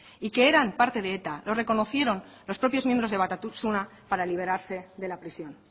y que eran parte de eta lo reconocieron los propios miembros de batasuna para liberarse de la prisión